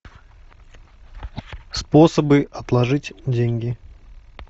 способы отложить деньги